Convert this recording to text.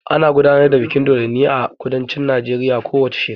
Ana gudanar da bikin dodonni a kudancin Najeriya ko wace shekara.